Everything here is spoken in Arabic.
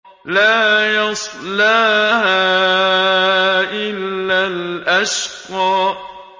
لَا يَصْلَاهَا إِلَّا الْأَشْقَى